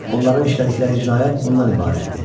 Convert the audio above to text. Onların işlədikləri cinayət bundan ibarətdir.